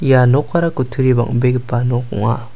ia nokara kutturi bang·begipa nok ong·a.